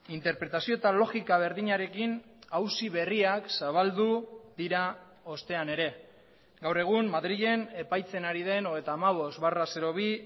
interpretazio eta logika berdinarekin auzi berriak zabaldu dira ostean ere gaur egun madrilen epaitzen ari den hogeita hamabost barra bi